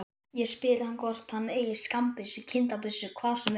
Ég spyr hvort hann eigi skammbyssu, kindabyssu, hvað sem er.